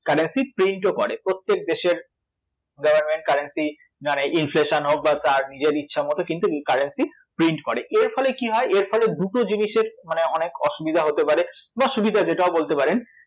Currency print ও করে, প্রত্যেক দেশের government currency inflation হোক বা তার নিজের ইচ্ছামত কিন্তু এই currency print করে, এর ফলে কী হয়, এর ফলে দুটো জিনিসের মানে অনেক অসুবিধা হতে পারে বা সুবিধা যেটা হোক বলতে পারেন